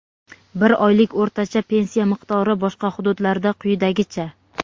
bir oylik o‘rtacha pensiya miqdori boshqa hududlarda quyidagicha:.